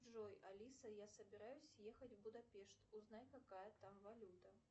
джой алиса я собираюсь ехать в будапешт узнай какая там валюта